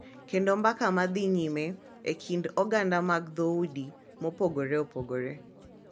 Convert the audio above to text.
Kendo mbaka ma dhi nyime e kind oganda mag dhoudi mopogore opogore.